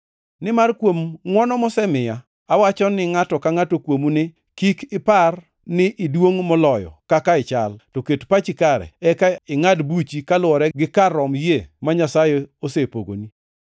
Nimar kuom ngʼwono mosemiya, awacho ni ngʼato ka ngʼato kuomu ni: Kik ipar ni iduongʼ moloyo kaka ichal to ket pachi kare eka ingʼad buchi kaluwore gi kar rom yie ma Nyasaye osepogoni.